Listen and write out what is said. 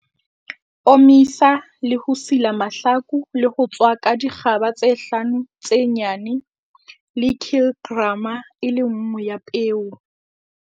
Omisa le ho sila mahlaku le ho tswaka dikgaba tse hlano tse nyane le kilgrama e le nngwe ya peo.